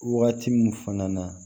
Wagati min fana na